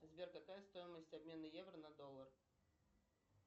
сбер какая стоимость обмена евро на доллар